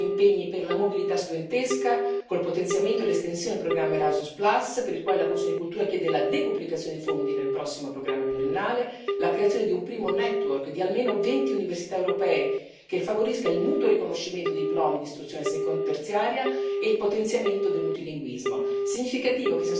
In particolare accogliamo gli impegni per la mobilità studentesca con il potenziamento e l'estensione del programma Erasmus, per il quale la commissione CULT chiede la decuplicazione dei fondi nel prossimo programma pluriennale, la creazione di un primo network di almeno venti università europee, che favorisca il mutuo riconoscimento dei diplomi di istruzione terziaria, e il potenziamento del multilinguismo.